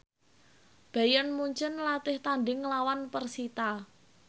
Bayern Munchen latih tandhing nglawan persita